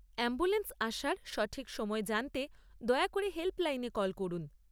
Ambulance আসার সঠিক সময় জানতে দয়া করে হেল্পলাইনে কল করুন।